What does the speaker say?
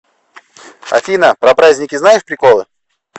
афина про праздники знаешь приколы